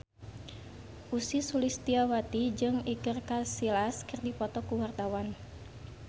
Ussy Sulistyawati jeung Iker Casillas keur dipoto ku wartawan